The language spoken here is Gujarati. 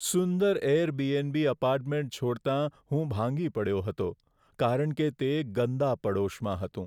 સુંદર એરબીએનબી એપાર્ટમેન્ટ છોડતા હું ભાંગી પડ્યો હતો કારણ કે તે ગંદા પડોશમાં હતું.